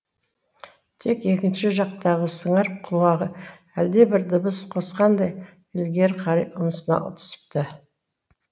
тек екінші жақтағы сыңар құлағы әлде бір дыбыс қосқандай ілгері қарай ұмсына түсіпті